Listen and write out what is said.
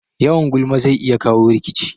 Yawan gulma zai iya kawo rikici